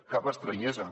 cap estranyesa